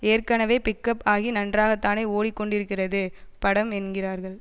ஏற்கனவே பிக்கப் ஆகி நன்றாக தானே ஓடிக் கொண்டிருக்கிறது படம் என்கிறார்கள்